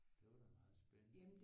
Det var da meget spændende